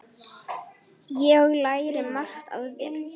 Ég lærði margt af þér.